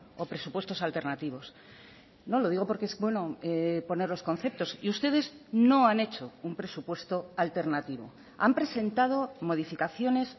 o presupuestos alternativos no lo digo porque es bueno poner los conceptos y ustedes no han hecho un presupuesto alternativo han presentado modificaciones